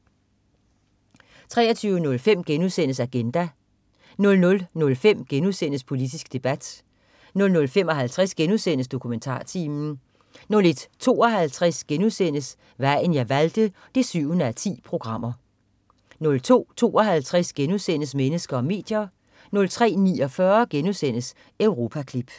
23.05 Agenda* 00.05 Politisk debat* 00.55 DokumentarTimen* 01.52 Vejen jeg valgte 7:10* 02.52 Mennesker og medier* 03.49 Europaklip*